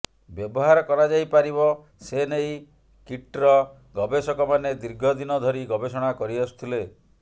ବ୍ୟବହାର କରାଯାଇପାରିବ ସେ ନେଇ କିଟ୍ର ଗବେଷକମାନେ ଦୀର୍ଘଦିନ ଧରି ଗବେଷଣା କରିଆସୁଥିଲେ